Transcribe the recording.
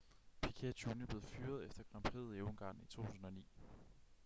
piquet jr blev fyret efter grand prixet i ungarn i 2009